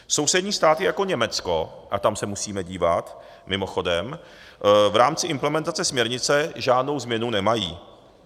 Sousední státy jako Německo - a tam se musíme dívat mimochodem - v rámci implementace směrnice žádnou změnu nemají.